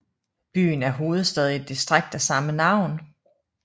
Byen er hovedstad i et distrikt af samme navn